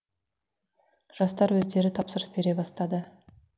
жастар өздері тапсырыс бере бастады